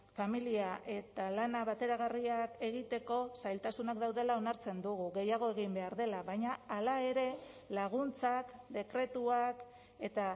familia eta lana bateragarriak egiteko zailtasunak daudela onartzen dugu gehiago egin behar dela baina hala ere laguntzak dekretuak eta